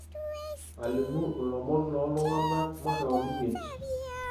Alimu lomon lontung'ani makeon 5.